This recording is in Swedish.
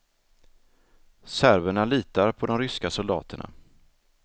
Serberna litar på de ryska soldaterna.